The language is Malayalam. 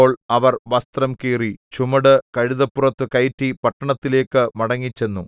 അപ്പോൾ അവർ വസ്ത്രം കീറി ചുമട് കഴുതപ്പുറത്തു കയറ്റി പട്ടണത്തിലേക്ക് മടങ്ങിച്ചെന്നു